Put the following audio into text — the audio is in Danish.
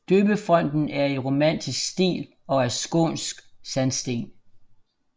Døbefonten er i romansk stil og af skånsk sandsten